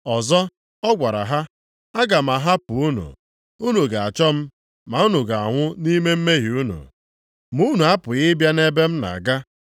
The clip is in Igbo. Ọzọ ọ gwara ha, “Aga m ahapụ unu, unu ga-achọ m, ma unu ga-anwụ nʼime mmehie unu. Ma unu apụghị ịbịa nʼebe m na-aga.”